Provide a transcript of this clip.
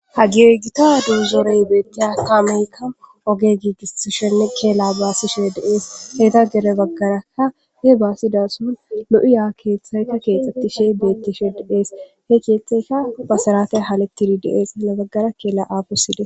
Hagee githaagee doozoree beeththiya kameekka oge giigissishenne keelaa baasishee de7ees; hethappe gede baggaarakka lo7iya keeththay keexeththishee beeththishee de7ees; he keeththeykka basaratay hemeththishe de7ees giyoogaa; ya baggera keela aafosi de7ees.